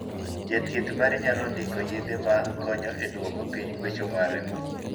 Jathieth mari nyalo ndiko yedhe ma konyo e duoko piny gwecho mar remo.